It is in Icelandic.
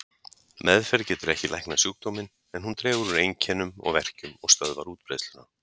Meðferð getur ekki læknað sjúkdóminn, en hún dregur úr einkennum og verkjum og stöðvar útbreiðsluna.